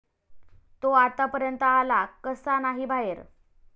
तो आत्तापर्यंत आला कसा नाही बाहेर?